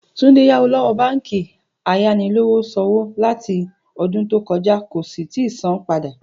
Túndé yáwó ló̩wó̩ báǹkì ayanilówós̩òwò láti o̩dún tó ko̩já kò sì tíì san-án padà